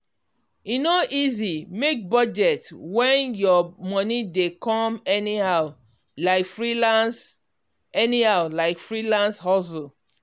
e no easy make budget when your money dey come anyhow like freelance anyhow like freelance hustle.